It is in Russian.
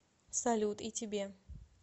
салют и тебе